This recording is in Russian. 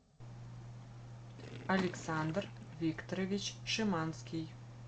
александр викторович шиманский